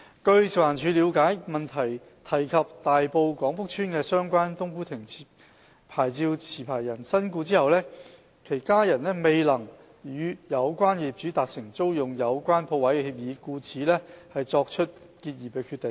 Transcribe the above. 據食環署了解，主體質詢提及大埔廣福邨的相關"冬菇亭"牌照持牌人身故後，其家人未能與有關業主達成租用有關鋪位的協議，故此作出結業的決定。